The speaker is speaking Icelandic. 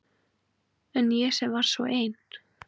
En ég var samt svo ein.